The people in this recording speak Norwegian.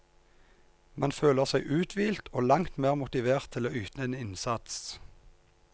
Man føler seg uthvilt og langt mer motivert til å yte en innsats.